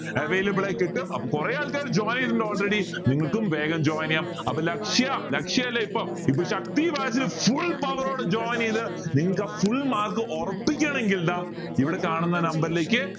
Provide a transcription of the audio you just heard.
available ആയി കിട്ടും അപ്പൊ കൊറേ ആൾകാർ join ചെയ്തിട്ടുണ്ട് already നിങ്ങചെയാം ൾക്കും വേഗം join അപ്പൊ ലക്ഷ്യ ലക്ഷയല്ലേ ഇപ്പൊ ഇപ്പൊ ശക്തി batch ൽ full power ഓടെ join ചെയ്ത് നിങ്ങൾക്ക് full mark ഉറപ്പിക്കണേൽ ഇതാ ഇവിടെ കാണുന്ന number ലേക്ക്